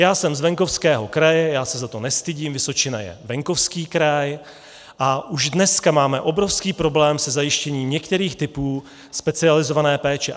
Já jsem z venkovského kraje, já se za to nestydím, Vysočina je venkovský kraj a už dneska máme obrovský problém se zajištěním některých typů specializované péče.